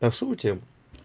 так шутим